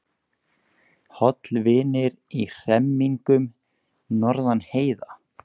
Hollvinir í hremmingum norðan heiða